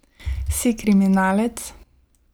Si kriminalec?